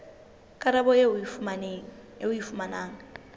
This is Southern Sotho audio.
karabo eo o e fumanang